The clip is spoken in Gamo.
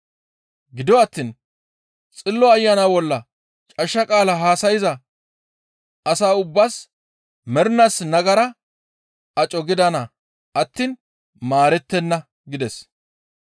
Gido attiin Xillo Ayana bolla cashsha qaala haasayza asa ubbaas mernaas nagara aco gidana attiin maarettenna» gides.